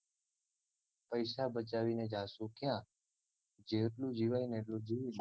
પૈસા બચાવીને જાસુ ક્યાં જેટલું જીવાયને એટલું જીવી લો